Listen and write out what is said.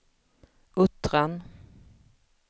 Uttran